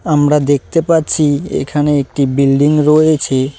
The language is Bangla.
আমরা দেখতে পাচ্ছি এখানে একটি বিল্ডিং রয়েছে।